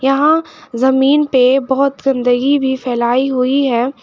यहां जमीन पे बहुत गंदगी भी फैलाई हुई है।